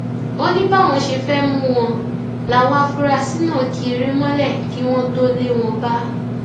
ó ní báwọn ṣe fẹẹ mú wọn láwọn afurasí náà ki eré mọlẹ kí wọn tóó lé wọn bá